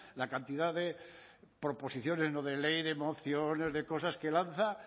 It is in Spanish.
la cantidad de proposiciones no de ley de mociones de cosas que lanza